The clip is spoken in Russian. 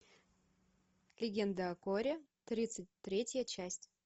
легенды о коре тридцать третья часть